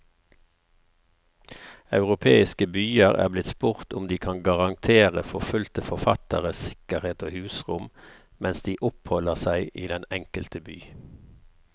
Europeiske byer er blitt spurt om de kan garantere forfulgte forfattere sikkerhet og husrom mens de oppholder seg i den enkelte by.